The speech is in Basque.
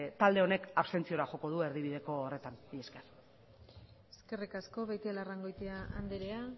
talde honek abstentziora joko du erdibideko horretan mila esker eskerrik asko beitialarrangoitia andrea